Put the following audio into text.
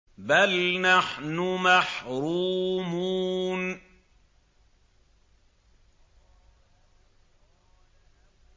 بَلْ نَحْنُ مَحْرُومُونَ